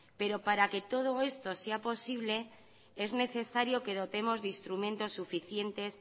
pero para que todo esto sea posible es necesario que dotemos de instrumentos suficientes